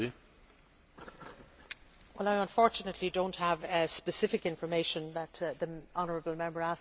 Unfortunately, I do not have the specific information that the honourable Member asked for in relation to the countries of the south.